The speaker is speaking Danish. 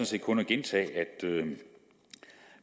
set kun at gentage at